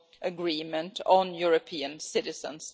agreements, on European citizens.